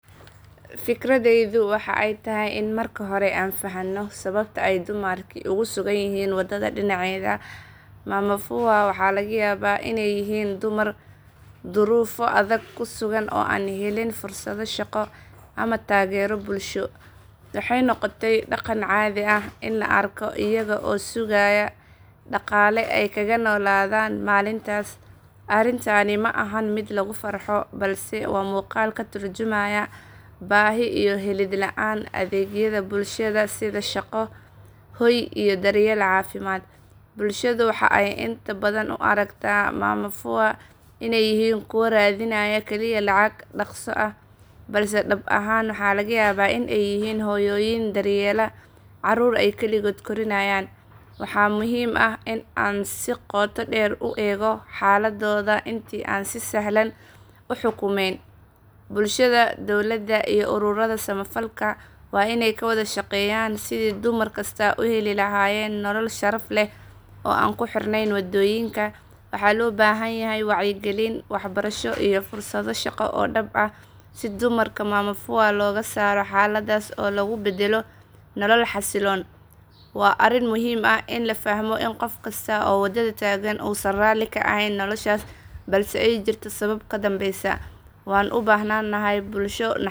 Fikradeydu waxa ay tahay in marka hore aan fahanno sababta ay dumarkaasi ugu sugan yihiin waddada dhinaceeda. Mama Fya waxaa laga yaabaa iney yihiin dumar duruufo adag ku sugan oo aan helin fursado shaqo ama taageero bulsho. Waxay noqotay dhaqan caadi ah in la arko iyaga oo sugaya dhaqaale ay kaga noolaadaan maalintaas. Arrintani ma ahan mid lagu farxo balse waa muuqaal ka tarjumaya baahi iyo helid la’aan adeegyada bulshada sida shaqo, hoy iyo daryeel caafimaad. Bulshadu waxa ay inta badan u aragtaa mama Fya iney yihiin kuwo raadinaya kaliya lacag dhaqso ah balse dhab ahaan waxaa laga yaabaa in ay yihiin hooyooyin daryeela caruur ay keligood korinayaan. Waxaa muhiim ah in aan si qoto dheer u eego xaaladooda intii aan si sahlan u xukumeyn. Bulshada, dowladda iyo ururada samafalka waa iney ka wada shaqeeyaan sidii dumar kasta u heli lahaayeen nolol sharaf leh oo aan ku xirnayn waddooyinka. Waxaa loo baahan yahay wacyigelin, waxbarasho iyo fursado shaqo oo dhab ah si dumarka mama Fya looga saaro xaaladdaas oo lagu beddelo nolol xasiloon. Waa arrin muhiim ah in la fahmo in qof kasta oo waddada taagan uusan raalli ka ahayn noloshaas balse ay jirto sabab ka dambeysa.